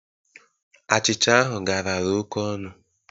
Achịcha ahụ garara oke ọnụ.